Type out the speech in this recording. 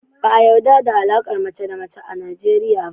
Ba a yarɗa da alaƙar mace da mace a Najeriya ba.